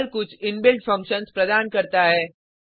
Perl कुछ inbuilt functions प्रदान करता है